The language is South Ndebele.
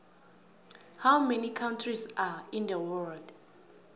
how many countries are in the world